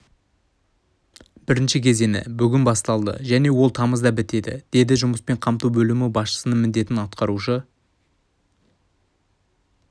бірінші кезеңі бүгін басталды және ол тамызда бітеді деді жұмыспен қамту бөлімі басшысының міндетін атқарушы